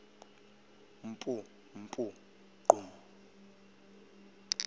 mpu mpu gqum